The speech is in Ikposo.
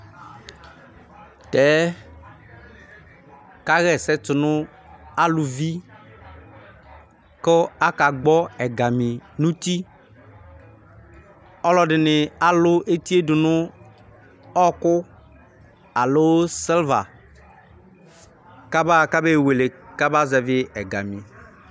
Tɛ kaɣa ɛsɛ tu nu aluvi ku akagbɔ ɛga mi nu uti ɔlɔdini alu etie du nu ɔku alo silva kaba ewele kamazɛvi ɛgami